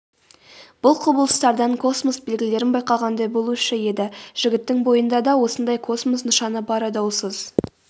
бұл құбылыстардан космос белгілерін байқағандай болушы еді жігіттің бойында да осындай космос нышаны бары даусыз